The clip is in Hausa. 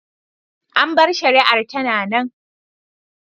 An bar shari’ar tana nan.